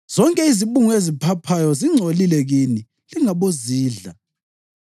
Zonke izibungu eziphaphayo zingcolile kini; lingabozidla.